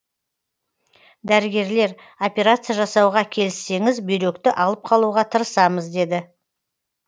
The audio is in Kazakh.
дәрігерлер операция жасауға келіссеңіз бүйректі алып қалуға тырысамыз деді